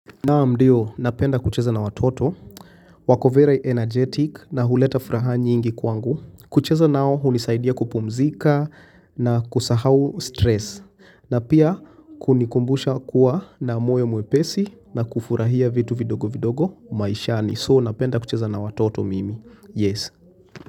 Naam ndiyo, napenda kucheza na watoto, wako very energetic na huleta furaha nyingi kwangu. Kucheza nao, unisaidia kupumzika na kusahau stress. Na pia, kunikumbusha kuwa na moyo mwepesi na kufurahia vitu vidogo vidogo maishani. So, napenda kucheza na watoto mimi. Yes.